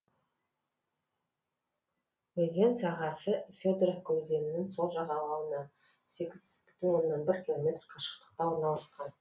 өзен сағасы федоровка өзенінің сол жағалауынан сегіз бүтін оннан бір километр қашықтықта орналасқан